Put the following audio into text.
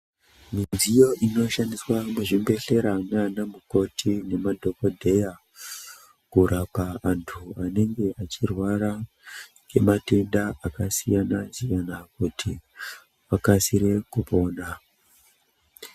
Midziyo inoshandiswa muzvibhedhlera nanamukoti nemadhokodheya kurapa antu anenga achirwara nematenda akasiyana siyana kuti vakasire kupona .